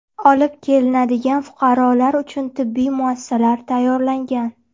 Olib kelinadigan fuqarolar uchun tibbiy muassasalar tayyorlangan.